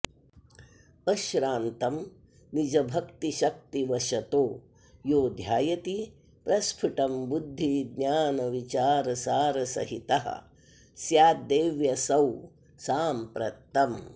अश्रान्तं निजभक्तिशक्तिवशतो यो ध्यायति प्रस्फुटं बुद्धिज्ञानविचारसारसहितः स्याद्देव्यसौ साम्प्रतम्